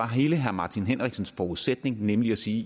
hele herre martin henriksens forudsætning nemlig at sige